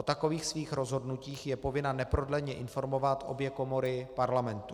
O takových svých rozhodnutích je povinna neprodleně informovat obě komory Parlamentu.